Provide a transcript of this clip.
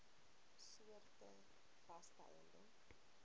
soorte vaste eiendom